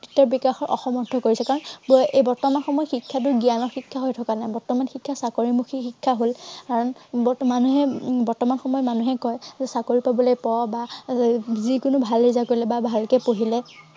বিকাশ অসমৰ্থ কৰিছে। কাৰন এই বৰ্তমান সময়ৰ শিক্ষাটো জ্ঞানৰ শিক্ষা হৈ থকা নাই। বৰ্তমান শিক্ষা চাকৰিমুখী শিক্ষা হল আহ বৰ্তমান মানুহে বৰ্তমান সময়ত মানুহে কয়, চাকৰি পাবলৈ পঢ় বা এৰ যি কোনো ভাল result কৰিলে বা ভালকে পঢ়িলে